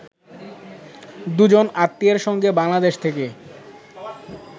দুজন আত্মীয়ের সঙ্গে বাংলাদেশ থেকে